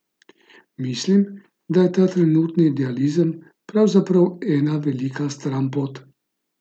Mislim, da je ta trenutni idealizem pravzaprav ena velika stranpot.